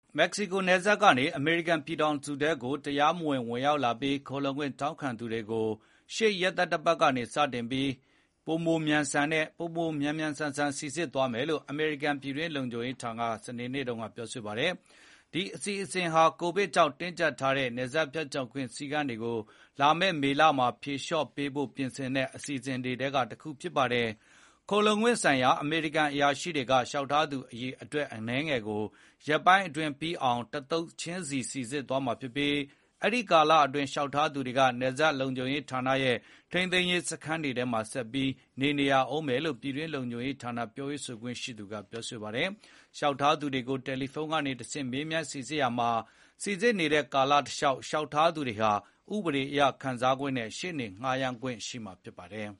မက္ကဆီကိုနယ်စပ်ကနေ အမေရိကန်ပြည်ထောင်စုထဲကို တရားမဝင် ဝင်ရောက်လာပြီး ခိုလှုံခွင့်တောင်းခံသူတွေကို ရှေ့ရက်သတ္တပတ်ကနေစတင်ပြီး ပိုပြီး မြန်မြန်ဆန်ဆန် စိစစ် သွားမယ်လို့ အမေရိကန်ပြည်တွင်းလုံခြုံရေးဌာနက စနေနေ့တုန်းကပြောဆိုပါတယ်။ ဒီအစီစဉ်ဟာ ကိုဗစ်ကြောင့်တင်းကြပ်ထားတဲ့ နယ်စပ်ဖြတ်ကျော်ခွင့်စည်းကမ်းတွေကို လာမယ့်မေလမှာ ဖြေလျော့ပေးဖို့ ပြင်ဆင်တဲ့အထဲက အစီအစဉ်တခုဖြစ်ပါတယ်။ ခိုလှုံခွင့်ဆိုင်ရာအမေရိကန်အရာရှိတွေက လျောက်ထားသူအရေအတွက်အနည်းငယ်ကို ရက်ပိုင်းအတွင်းပြီးအောင် တသုတ်ချင်းစိစစ်သွားမှာဖြစ်ပြီး အဲဒိကာလအတွင်း လျှောက်ထားသူတွေက နယ်စပ်လုံခြုံရေးဌာနရဲ့ ထိန်းသိမ်းရေးစခန်းတွေထဲမှာ ဆက်ပြီးနေ- နေရဦးမယ်လို့ ပြည်တွင်းလုံခြုံရေးဌာနပြောရေးဆိုခွင့်ရှိသူ Marsha Espinosa ကပြော ပါတယ်။ လျှောက်ထားသူတွေကို တယ်လီဖုန်းကနေတဆင့် မေးမြန်းစိစစ်ရာမှာ စိစစ်နေတဲ့ကာလတလျောက်- လျှောက်ထားသူတွေဟာ ဥပဒေအရခံစားခွင့်နဲ့ ရှေ့နေငှားရမ်းခွင့်ရှိမှာဖြစ်ပါတယ်။